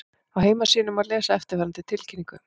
Á heimasíðunni má lesa eftirfarandi tilkynningu